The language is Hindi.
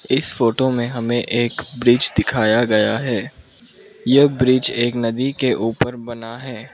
इस फोटो में हमें एक ब्रिज दिखाया गया है ये ब्रिज एक नदी के ऊपर बना है।